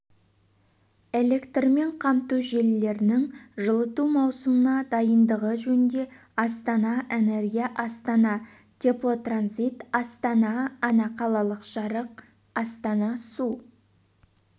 электрмен қамту желілерінің жылыту маусымына дайындығы жөнінде астана-энергия астана-теплотранзит астана астана қалалық жарық астана су